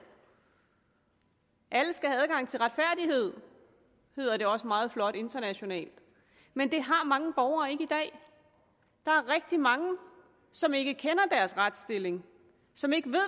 alle skal have adgang til retfærdighed hedder det også meget flot internationalt men det har mange borgere ikke i dag der er rigtig mange som ikke kender deres retsstilling som ikke ved